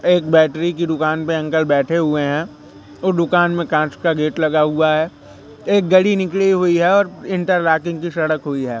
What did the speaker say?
एक बैटरी की दुकान पे अंकल बैठे हुए हैं वो दुकान में कांच का गेट लगा हुआ है एक घड़ी निकली हुई है और इंटर लॉकिंग की सड़क हुई है।